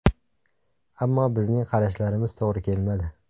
Ammo bizning qarashlarimiz to‘g‘ri kelmadi.